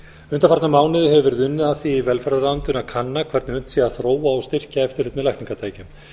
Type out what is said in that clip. undanfarna mánuð hefur verið unnið að því í velferðarráðuneytinu að kanna hvernig unnt sé að þróa og styrkja eftirlit með lækningatækjum